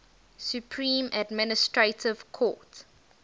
supreme administrative court